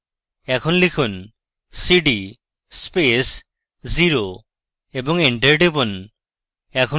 এখন লিখুন cd space 0 এবং এন্টার টিপুন